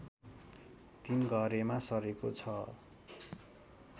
तीनघरेमा सरेको छ